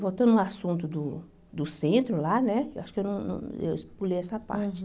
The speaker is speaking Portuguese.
Voltando ao assunto do do centro lá né, eu acho que eu não eu es pulei essa parte.